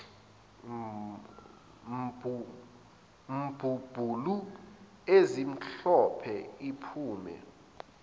mbumbulu ezimhlophe iphume